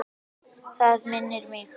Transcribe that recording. Það minnir mig.